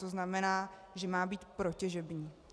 To znamená, že má být protěžební.